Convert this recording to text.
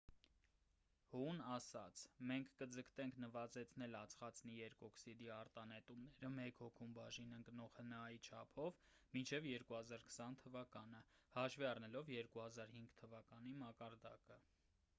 հուն ասաց․«մենք կձգտենք նվազեցնել ածխածնի երկօքսիդի արտանետումները մեկ հոգուն բաժին ընկնող հնա-ի չափով մինչև 2020 թվականը՝ հաշվի առնելով 2005 թվականի մակարդակը»։